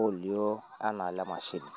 olioo anaa ile mashini.